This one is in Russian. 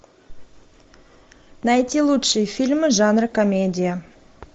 найти лучшие фильмы жанра комедия